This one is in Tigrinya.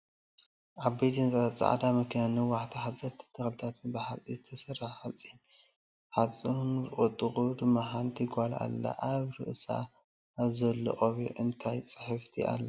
ዓበይቲ ህንፃን ፃዕዳ መኪናን ነዋሕትን ሓፀርትን ተክልታትን ብሓፂን ዝተሰረሐ ሓፂር ሓፀሩንኣብ ጥቅኡ ድማ ሓንቲ ጓል ኣላ። አብ ርእሳ አብ ዘል ቆቢዕ እንታይ ፅሕፍቲ ኣላ?